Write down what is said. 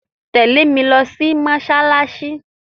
Tẹ̀lé mi lo sí mósálásí